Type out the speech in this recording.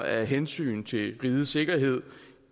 af hensyn til rigets sikkerhed